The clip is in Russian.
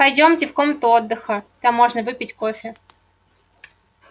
пойдёмте в комнату отдыха там можно выпить кофе